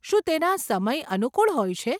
શું તેના સમય અનુકુળ હોય છે?